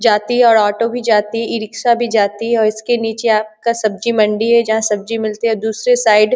जाती है और ऑटो भी जाती इ-रिक्शा भी जाती है और इसके नीचे आपका सब्जी मंडी है जहाँ सब्जी मिलती है दूसरे साइड --